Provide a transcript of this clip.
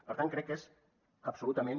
per tant crec que és absolutament